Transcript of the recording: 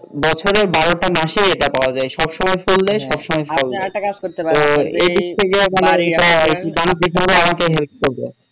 বছরে বারোটা মাসে এটা পাওয়া যায় সব সময় করলে সব সময় ফল দেয়